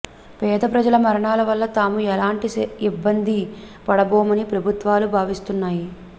పేదప్రజల మరణాల వల్ల తాము ఎలాంటి ఇబ్బంది పడబోమని ప్రభుత్వాలు భావిస్తున్నాయి